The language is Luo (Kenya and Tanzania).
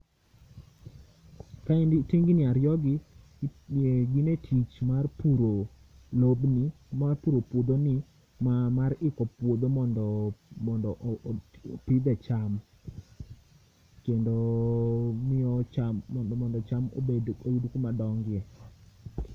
ka endi tingni ariyo gi gin e tich mar puro lobni mar puro puodho ni mar iko puodho mondo opidhe cham kendo miyo cham oyud kama dongie.